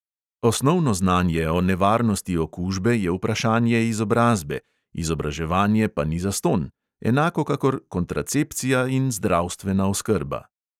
Osnovno znanje o nevarnosti okužbe je vprašanje izobrazbe, izobraževanje pa ni zastonj, enako kakor kontracepcija in zdravstvena oskrba.